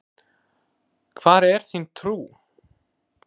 Hvar er þín trú?